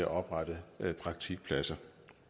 oprette praktikpladser